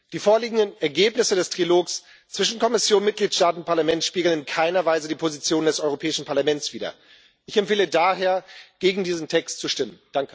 Die vorliegenden Ergebnisse des Trilogs zwischen Kommission, Mitgliedstaaten und Parlament spiegeln in keiner Weise die Position des Europäischen Parlaments wider. Ich empfehle daher, gegen diesen Text zu stimmen.